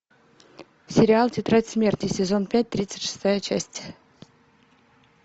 сериал тетрадь смерти сезон пять тридцать шестая часть